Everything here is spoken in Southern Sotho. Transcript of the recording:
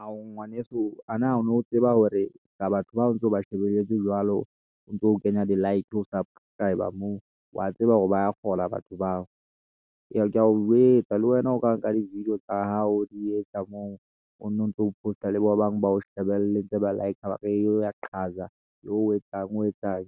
Ao, ngwaneso a na o no tseba hore ska batho bao ntse o ba shebelletse jwalo, o ntso kenya di-like o subscriber moo, wa tseba hore ba kgola batho bao. Ee keya o jwetsa le wena o ka nka di-video tsa hao o di etsa moo o nontso o post-a le ba bang ba o shebelletse ba ntse ba like-r e be wa qhaza e be o etsang o etsang